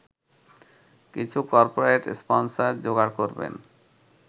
কিছু corporate sponsor জোগাড় করবেন